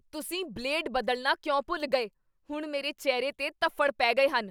ਤੁਸੀਂ ਬਲੇਡ ਬਦਲਣਾ ਕਿਉਂ ਭੁੱਲ ਗਏ? ਹੁਣ ਮੇਰੇ ਚਿਹਰੇ 'ਤੇ ਧੱਫ਼ੜ ਪੈ ਗਏ ਹਨ!